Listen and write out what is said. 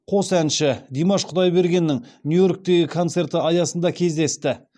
қос әншідимаш құдайбергеннің нью йорктегі концерті аясында кездесті